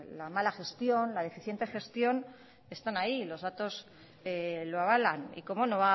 la mala gestión la deficiente gestión están ahí los datos lo avalan y cómo no